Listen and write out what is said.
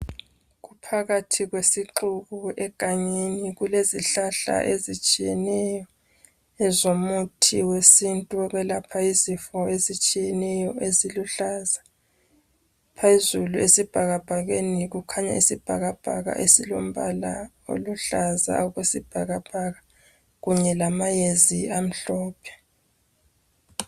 Phakathi kwesixuku egangeni, kulezihlahla ezitshiyeneyo ezomuthi wesintu wokwelapha izifo ezitshiyeneyo eziluhlaza, phezulu esibhakabhakeni kukhanya isibhakabhaka esilombala oluhlaza okwesibhakabhaka kunye lamayezi amhlophe.